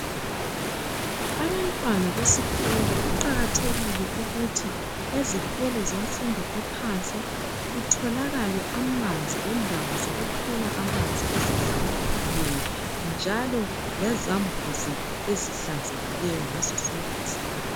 Abantwana besikolo kuqakathekile ukuthi ezikolo zemfundo yaphansi kutholakale amanzi lendawo zokukhela amanzi ezihlambulukileyo .Njalo lezambuzi ezihlanzekileyo ngaso sonke iskhathi .